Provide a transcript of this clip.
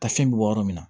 Ta fɛn bɛ bɔ yɔrɔ min na